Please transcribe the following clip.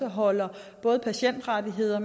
holder både patientrettigheder